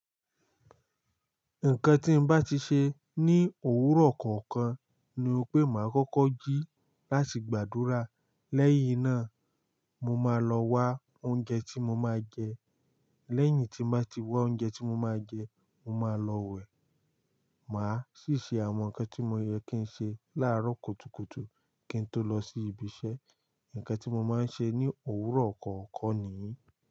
Nǹkan tí ń bá ti ṣe ní òwúrọ̀ kọ̀ọ̀kan ni pé máa kọ́kọ́ jí láti gbàdúrà, lẹ́yìn náà mo máa lọ wa oúnjẹ tí mo máa jẹ, lẹ́yìn tí mo bá ti wá oúnjẹ tí mo máa jẹ, mo máa lọ wẹ̀. Máa sì ṣe àwọn nǹkan tí ó yẹ kí n ṣe láàárọ̀ kùtùkùtù kí n tó lọ sí ibi iṣẹ́. Ǹkan tí mo máa ń ṣe ní òwúrọ̀ kọ̀ọ̀kan nìyí.